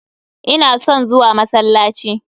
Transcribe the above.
Ina son zuwa masallaci.